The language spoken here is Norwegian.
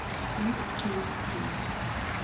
tid tid tid